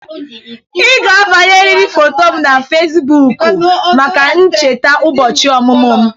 Ị ga-agbanyeriri foto m na Fesibuuku maka ncheta ụbọchị ọmụmụ m.